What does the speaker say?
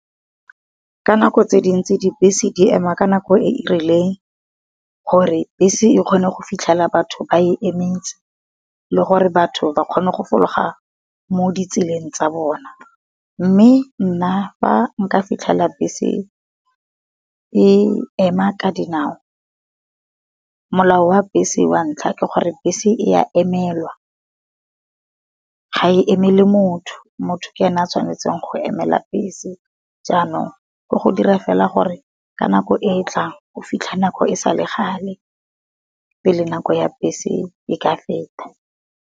Ka nako tse dintsi di bese di ema ka nako e e rileng, gore bese e kgone go fitlhela batho ba e emetse le gore batho ba kgone go fologa mo di tseleng tsa bona. Mme nna fa nka fitlhela bese e ema ka dinao, molao wa bese wa ntlha ke gore bese e a emelwa, ga e emele motho, motho ke ena a tshwanetseng go emela bese. Jaanong ke go dira fela gore ka nako e e tlang o fitlhe nako e sale gale, pele nako ya bese e ka feta.